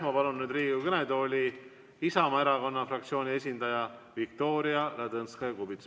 Ma palun Riigikogu kõnetooli Isamaa fraktsiooni esindaja Viktoria Ladõnskaja-Kubitsa.